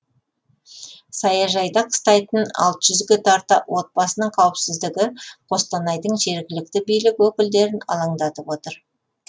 саяжайда қыстайтын алты жүзге тарта отбасының қауіпсіздігі қостанайдың жергілікті билік өкілдерін алаңдатып отыр